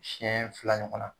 Siyɛn fila ɲɔgɔnna.